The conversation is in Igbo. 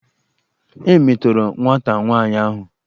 E metọrọ nwata nwaanyi ahụ.